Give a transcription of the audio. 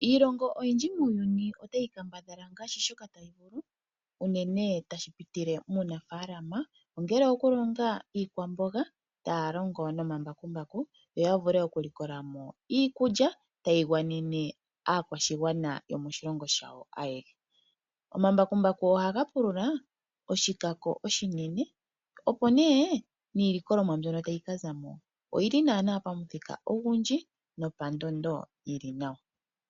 Iilongo oyindji muuyuni otayi kambadhala ngaashi shoka tayi vulu unene ngele tashi pitile muunafaalama ongele oyokulonga iikwamboga taya longo nomambakumbaku yo ya vule okulikola mo iikulya tayi gwanene aakwashigwana yomoshilongo shawo ayehe. Omambakumbaku ohaga pulula oshilwa oshinene, opo nduno niilikolwamo mbyono tayi ka za mo oyindji noyi li pandondo yi li nawa.